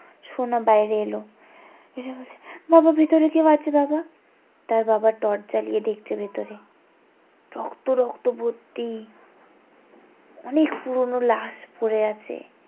সোনা বাইরে এলো এসে বলছে বাবা ভিতরে কেউ আছে বাবা তার বাবা টর্চ জ্বালিয়ে দেখছে ভেতরে রক্ত রক্ত ভর্তি অনেক পুরোনো লাস পরে আছে